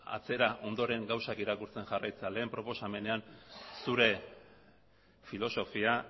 atzera ondoren gauzak irakurtzen jarraitzea lehen proposamenean zure filosofia